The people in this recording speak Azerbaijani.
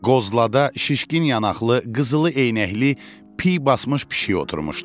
Qozlada şişkin yanaqlı, qızılı eynəkli, pi basmış pişik oturmuşdu.